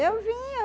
Eu vinha.